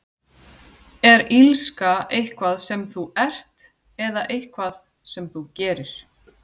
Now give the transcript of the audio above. Er illska eitthvað sem þú ert, eða eitthvað sem þú gerir?